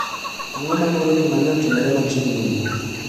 Ang'o ma moroji mane otimore machiegni ni.